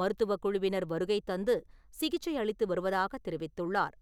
மருத்துவக் குழுவினர் வருகை தந்து சிகிச்சை அளித்து வருவதாக தெரிவித்துள்ளார்.